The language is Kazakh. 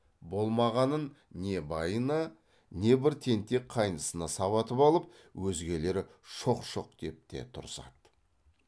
болмағанын не байына не бір тентек қайнысына сабатып алып өзгелері шоқ шоқ деп те тұрысады